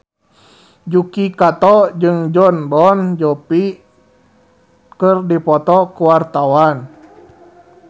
Yuki Kato jeung Jon Bon Jovi keur dipoto ku wartawan